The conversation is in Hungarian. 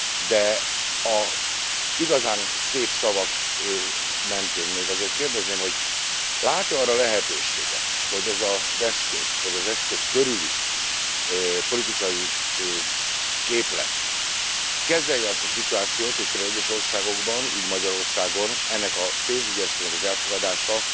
De az igazán szép szavak mentén még azért kérdezném, hogy lát e arra lehetőséget, hogy ez az eszköz, vagy az eszköz körüli politikai képlet kezelje azt a szituációt, hogy pl. egyes országokban, így Magyarországon, ennek a pénzügyi eszköznek az elfogadása